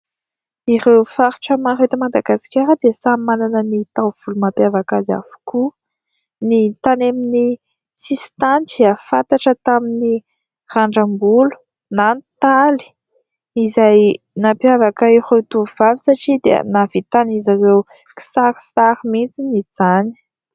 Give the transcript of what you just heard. Ireo faritra maro eto Madagasikara dia samy manana ny taovolo mampiavaka azy avokoa : ny tany amin'ny sisin-tany fantatra tamin'ny randram-bolo na ny taly, izay nireo tovovavy satria dia nahavitan'izy ireo kisarisary mihitsy izany.